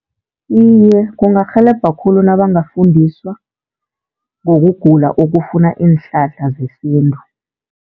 Iye, kungarhelebha khulu nabangafundiswa ngokugula okufuna iinhlahla zesintu.